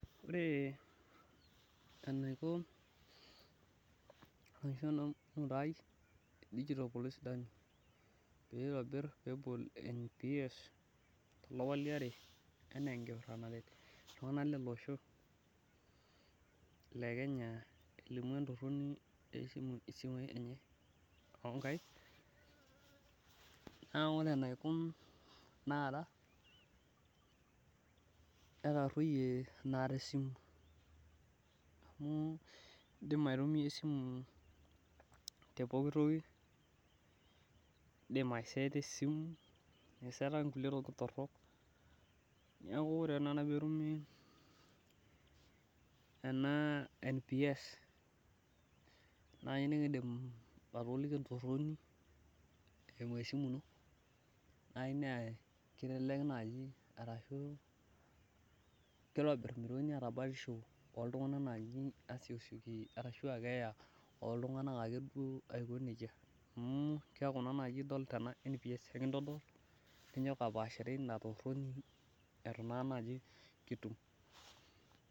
Ore enaiko e digital police dummy pee itobir NPS tolapa liare ana enkipirta naret iltunganak lele osho, n le Kenya elimu entoroni isimui oo nkaik. naa ore enaiko taata , netaroyie naa tesimu amu, idim aitumia esimu te pooki toki idim ai seeta esimu aiseetaki kulie tokitin torok, neeku ore te akata peetumi ena NPS, naa nikidim atoliki entoroni eimu esimu ino, naaji naa kelelek naaji, arashu kitobir, oltungani atabakisho oltunganak naaji, asiokisioki, arashu keeta ooltunganak, ake duo aiko nejia. Amu keeku naa idol tena NPS, ninyoki apaashare Ina toroni eitu naa naji kitum.